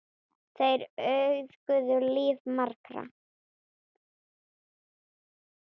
Þeir auðguðu líf margra.